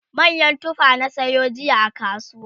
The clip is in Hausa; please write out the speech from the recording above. manyan tufa na sayo jiya a kasuwa